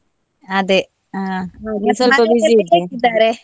ಅದೇ ಹಾ. ?